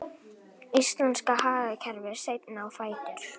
Íslenska hagkerfið seinna á fætur